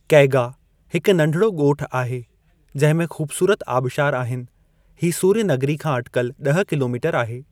कैगा, हिकु नढिड़ो ॻोठु आहे जंहिं में ख़ूबसूरत आबशार आहिनि, ही सूर्य नगरी खां अटिकल ॾह किलोमीटर आहे।